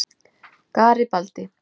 Garibaldi